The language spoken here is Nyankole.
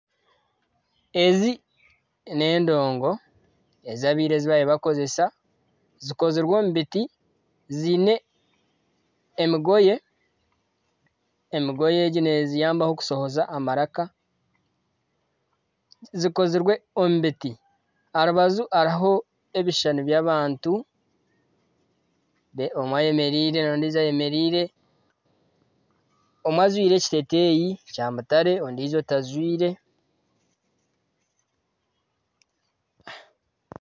Ezi n'endongo ezi ab'ira ezi baabaire bakozesa. Zikozirwe omu biti, ziine emigoye. Emigoye egi neziyambaho okushohoza amaraka. Zikozirwe omu biti. Aha rubaju hariho ebishushani by'abantu. Omwe ayemereire n'ondijo ayemereire. Omwe ajwaire ekiteeteeyi kya mutare ondiijo tajwaire.